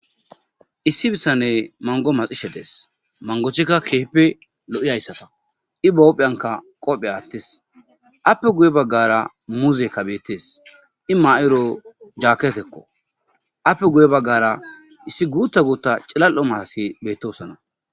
Issi bitaney mango maxishe de7es.mangotika keehippe lo7izaysatako ii bahuphiyanka qobe attis aappe guye bagara muzeyka beettes.ii ma7iro jaaketeko. aappe guye bagara iisi guta guta cilal7o maati betosona.